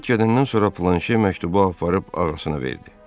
Karet gedəndən sonra Planşe məktubu aparıb ağasına verdi.